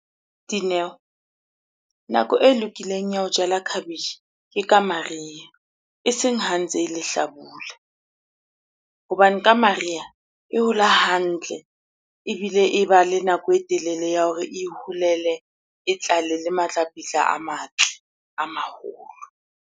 Dineo, nako e lokileng ya ho jala khabetjhe ke ka mariha eseng ha ntse e lehlabula. Hobane ka mariha e hola hantle ebile e ba le nako e telele ya hore e iholele, e tlale le matlapetla a matl, a maholo.